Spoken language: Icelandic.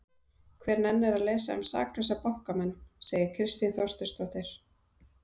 Hver nennir að lesa um saklausa bankamenn? segir Kristín Þorsteinsdóttir.